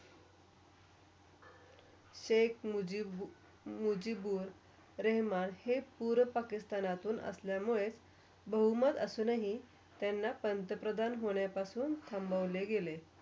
शेख मुजीबु मुजीबुर रहमान हे पूर्व पाकिस्तानातून असल्या मुळे बहुमत असल्यानी त्यांना पंतप्रधान होण्यापासून संभवले गेले.